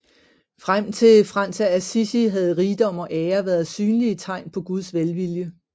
Frem til Frans af Assisi havde rigdom og ære været synlige tegn på Guds velvilje